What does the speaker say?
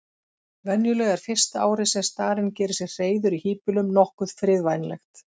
Venjulega er fyrsta árið sem starinn gerir sér hreiður í híbýlum nokkuð friðvænlegt.